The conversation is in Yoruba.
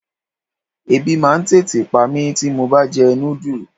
Ẹbí máa ń tètè pa mí tí mo bá jẹ núdù.